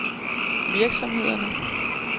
virksomhederne